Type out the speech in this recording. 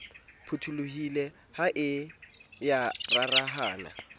phutholohile ha e ya rarahana